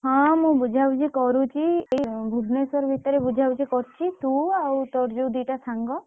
ହଁ ମୁ ବୁଝା ବୁଝି କରୁଛି ଏଇ ଭୁବନେଶ୍ଵର ଭିତରେ ବୁଝା ବୁଝି କରୁଛି ତୁ ଆଉ ତୋର ଯୋଉ ଦିଟା ସାଙ୍ଗ।